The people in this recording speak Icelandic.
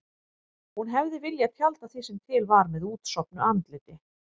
Hún hefði viljað tjalda því sem til var með útsofnu andliti.